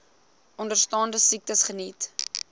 onderstaande siektes geniet